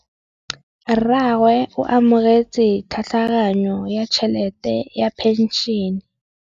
Rragwe o amogetse tlhatlhaganyô ya tšhelête ya phenšene.